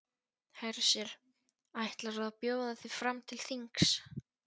Hersir: Ætlarðu að bjóða þig fram til þings?